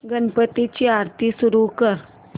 गणपती ची आरती सुरू कर